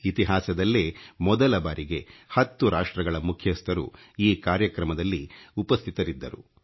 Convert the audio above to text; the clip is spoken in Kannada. ಇತಿಹಾಸದಲ್ಲೇ ಮೊದಲ ಬಾರಿಗೆ 10 ರಾಷ್ಟ್ರಗಳ ಮುಖ್ಯಸ್ಥüರು ಈ ಕಾರ್ಯಕ್ರಮದಲ್ಲಿ ಉಪಸ್ಥಿತರಿದ್ದರು